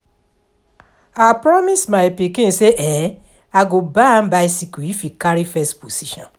I promise my pikin say I go buy am bicycle if he carry first position